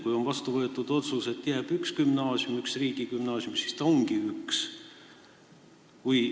Kui on vastu võetud otsus, et jääb üks gümnaasium, üks riigigümnaasium, siis ongi ju üks gümnaasium.